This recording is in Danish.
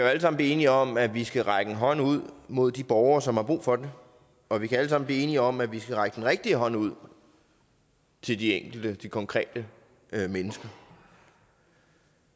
alle sammen blive enige om at vi skal række en hånd ud mod de borgere som har brug for og vi kan alle sammen blive enige om at vi skal række den rigtige hånd ud til de enkelte konkrete mennesker